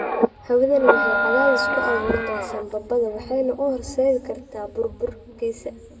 Hawadani waxay cadaadis ku abuurtaa sambabada waxayna u horseedi kartaa burburkiisa.